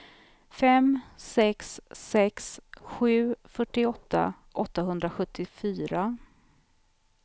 fem sex sex sju fyrtioåtta åttahundrasjuttiofyra